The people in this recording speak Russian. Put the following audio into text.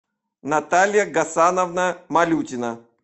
наталья гасановна малютина